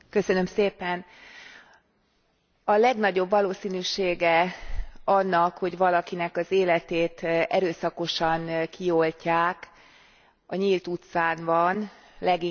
A legnagyobb valószínűsége annak, hogy valakinek az életét erőszakosan kioltják, a nyílt utcán van, leginkább kocsma környékén.